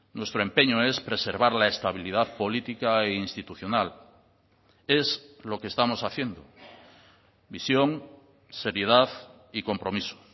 nuestro empeño es preservar la estabilidad política e institucional es lo que estamos haciendo visión seriedad y compromiso